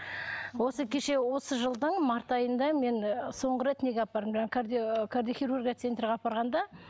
осы кеше осы жылдың март айында мен соңғы рет неге апардым жаңағы ыыы кардиохирургия центрге апарғанда